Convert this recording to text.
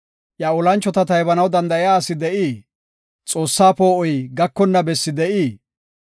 Iya olanchota taybanaw danda7iya asi de7ii? Xoossa poo7oy gakonna bessi de7ii?